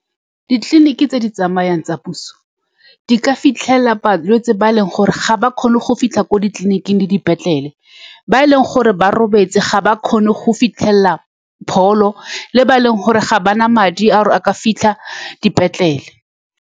Ditleliniki tse di tsamayang tsa puso di ka fitlhelela balwetse ba e leng gore ga ba kgone go fitlha ko ditleliniking le dipetlele. Ba e leng gore ba robetse, ga ba kgone go fitlhelela pholo, le ba e leng gore ga ba na madi a gore a ka fitlha dipetlele.